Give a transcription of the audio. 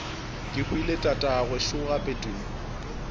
kehwile tatagwe šo gape tumi